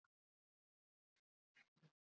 gíraffar eru hæstu dýr jarðarinnar